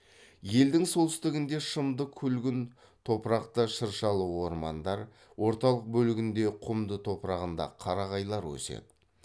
елдің солтүстігінде шымды күлгін топырақта шыршалы ормандар орталық бөлігінде құмды топырағында қарағайлар өседі